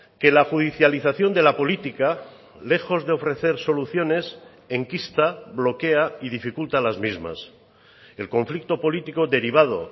que la judicialización de la política lejos de ofrecer soluciones enquista bloquea y dificulta las mismas el conflicto político derivado